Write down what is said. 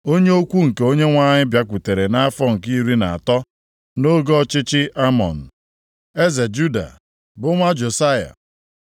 Onye okwu nke Onyenwe anyị bịakwutere nʼafọ nke iri na atọ nʼoge ọchịchị Amọn, eze Juda bụ nwa Josaya.